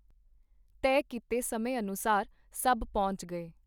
ਤਹਿ ਕੀਤੇ ਸਮੇਂ ਅਨੁਸਾਰ ਸਭ ਪਹੁੰਚ ਗਏ.